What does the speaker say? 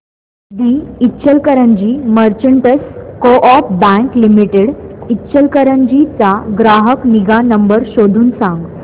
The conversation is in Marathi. दि Ichalkaranji merchants co op bank limited Ichalkaranji चा ग्राहक निगा नंबर शोधून सांग